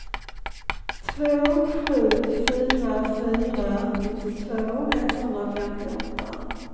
två sju fyra fyra nittiotvå etthundrafemtioåtta